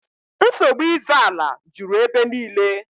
Nsogbu ịzọ ala juru ebe niile